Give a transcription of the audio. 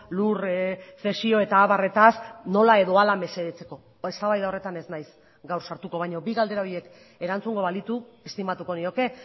lur zesio eta abarretaz nola edo ala mesedetzeko eztabaida horretan ez naiz gaur sartuko baina bi galdera horiek erantzungo balitu estimatuko nioke